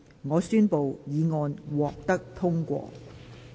我宣布議案獲得通過。